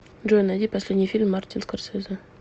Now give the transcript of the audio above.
джой найди последний фильм мартин скорсезе